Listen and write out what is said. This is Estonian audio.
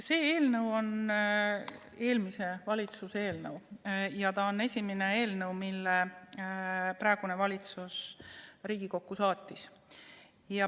See eelnõu on eelmise valitsuse eelnõu ja see on esimene eelnõu, mille praegune valitsus Riigikokku saatis.